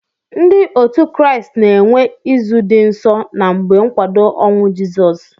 Ndi otu kraist na enwe izu di nsọ na mgbe nkwado onwụ jisọs